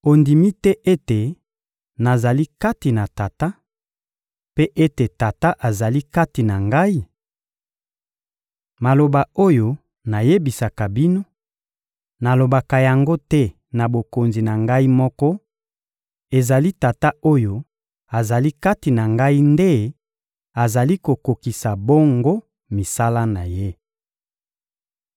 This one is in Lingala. Ondimi te ete nazali kati na Tata, mpe ete Tata azali kati na Ngai? Maloba oyo nayebisaka bino, nalobaka yango te na bokonzi na Ngai moko; ezali Tata oyo azali kati na Ngai nde azali kokokisa bongo misala na Ye.